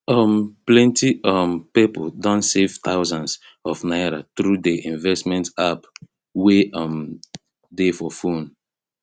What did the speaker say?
um plenty um people don save thousands of naira through the investment app wey um dey for phone